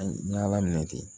N ye ala minɛ ten